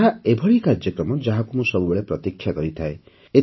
ଏହା ଏଭଳି କାର୍ଯ୍ୟକ୍ରମ ଯାହାକୁ ମୁଁ ସବୁବେଳେ ପ୍ରତୀକ୍ଷା କରିଥାଏ